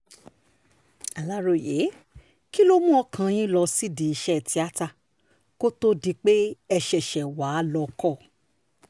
aláròye kí ló mú ọkàn yín lọ sídìí iṣẹ́ tíata kó tóó di pé ẹ ṣẹ̀ṣẹ̀ wá lọ́ọ́ kọ́ ọ